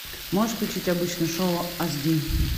можешь включить обычное шоу ас ди